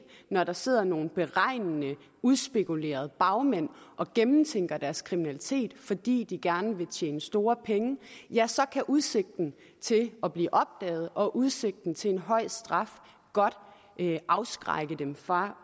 når der sidder nogle beregnende udspekulerede bagmænd og gennemtænker deres kriminalitet fordi de gerne vil tjene store penge ja så kan udsigten til at blive opdaget og udsigten til en høj straf godt afskrække dem fra